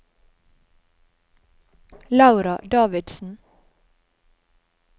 Laura Davidsen